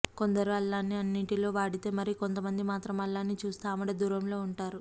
కొందరు అల్లాన్ని అన్నింటిలో వాడితే మరి కొంత మంది మాత్రం అల్లాన్ని చూస్తే ఆమడ దూరంలో ఉంటారు